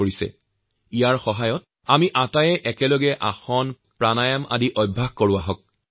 মই আপোনালোকৰ সৈতে এই ভিডিঅ শ্বেয়াৰ কৰিব বিচাৰিছো যাতে আমি একেলগে আসন আৰু প্ৰাণায়ামৰ অভ্যাস কৰিব পাৰো